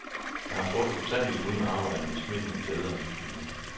Jeg har truffet utallige uden arbejde med smittende glæde og livsvilje.